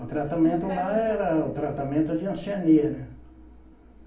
O tratamento lá era o tratamento de hanseníase, né?